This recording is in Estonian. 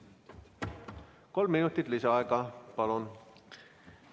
Kolm minutit lisaaega, palun!